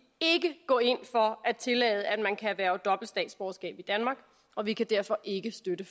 ikke gå ind for at tillade at man kan erhverve dobbelt statsborgerskab i danmark og vi kan derfor ikke støtte